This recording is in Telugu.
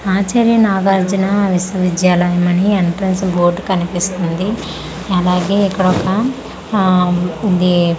ఆచర్య నాగార్జునా విశ్వవిద్యాలయం అని ఎంట్రన్స్ లో బోర్డు కన్పిస్తుంది అలాగే ఇక్కడొక ఆమ్ ఇది చిన్న పా--